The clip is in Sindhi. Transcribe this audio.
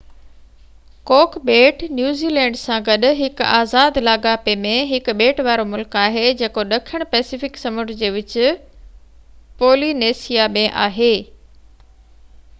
ڪوڪ ٻيٽ نيوزي لينڊ سان گڏ هڪ آزاد لاڳاپي ۾ هڪ ٻيٽ وارو ملڪ آهي جيڪو ڏکڻ پئسفڪ سمنڊ جي وچ پولي نيسيا ۾ آهي